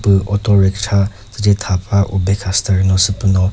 püh auto ricksha tsüce thapüva ube kha steering lü sü püh no.